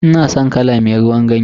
Ina san kala me ruwan ganye.